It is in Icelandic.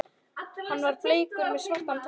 Hann var bleikur með svartan topp.